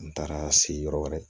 N taara se yɔrɔ wɛrɛ